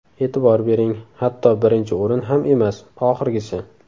E’tibor bering, hatto birinchi o‘rin ham emas, oxirgisi.